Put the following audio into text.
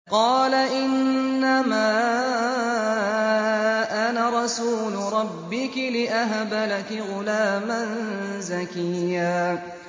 قَالَ إِنَّمَا أَنَا رَسُولُ رَبِّكِ لِأَهَبَ لَكِ غُلَامًا زَكِيًّا